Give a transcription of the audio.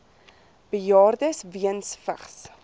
bejaardes weens vigs